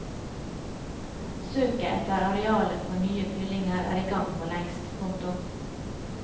Søket etter arealer for nye fyllinger er i gang for lengst. punktum